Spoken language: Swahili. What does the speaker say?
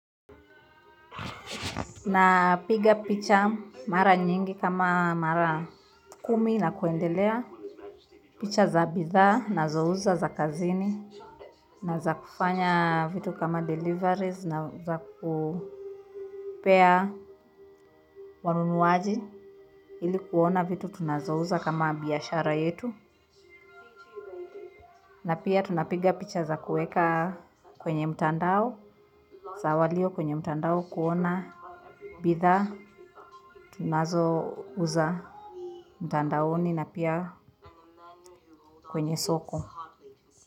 Na piga picha mara nyingi kama mara kumi na kuendelea picha za bidhaa nazouza za kazini na za kufanya vitu kama deliveries na za kupea wanunuzi ili kuona vitu tunazouza kama biashara yetu. Na pia tunapiga picha za kuweka kwenye mtandao za walio kwenye mtandao kuona bidhaa tunazouza mtandaoni na pia kwenye soko.